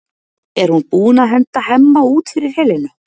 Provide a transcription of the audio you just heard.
Er hún búin að henda Hemma út fyrir Helenu?